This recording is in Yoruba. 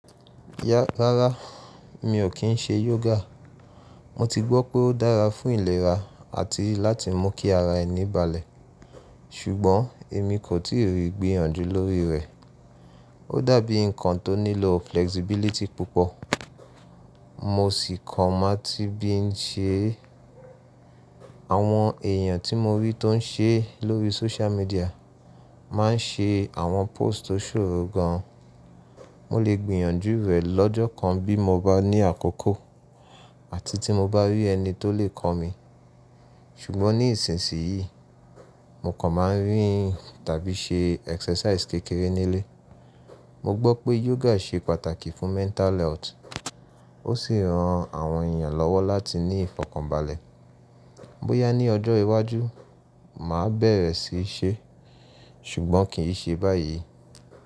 Yá, rárá mi ò kí n ṣe yoga. Mo ti gbọ́ pé ó dára fún ìlera àti láti mú kí ara ẹ ní balẹ̀, ṣùgbọ́n èmi kò tíì rí gbìyànjú lórí rẹ̀. Ó dàbí nǹkan tó nílò flexibility púpọ̀, mo sì kàn máa tí bí n ṣe. Àwọn èèyàn tí mo rí tó n ṣe lórí social media má n ṣe àwọn post tó ṣòro gan. Mo lè gbìyànjú rẹ̀ lọ́jọ́ kan bí mo bá ní àkókò àti tí mo bá rí ẹni tó lè kọ́ mi. Ṣùgbọ́n ní ìsinsìnyí mo kàn máa ń rìn tàbí ṣe exercise kékeré nílé. Mo gbọ́ pé yoga ṣe pàtàkì fún mental health, ó sì ran àwọn èèyàn lọ́wọ́ láti ní ìfọ̀kànbalẹ̀. Bóyá ní ọjọ́ iwájú màá bẹ̀rẹ̀ sí í ṣe, ṣùgbọ́n kì í ṣe báyìí.